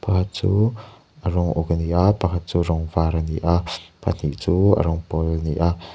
chu a rawng uk a ni a pakhat chu a rawng var a ni a pahnih chu a rawng pawl a ni a.